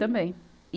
Também. e